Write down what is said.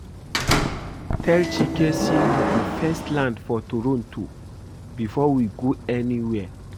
Tell Chike say we go first land for Toronto before we go anywhere